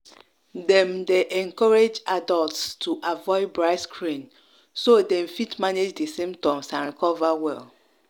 dem dey encourage adults to avoid bright screen so dem fit manage di symptoms and recover well.